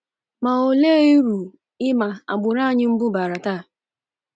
Ma olee uru ịma agbụrụ anyi mbụ baara taa?'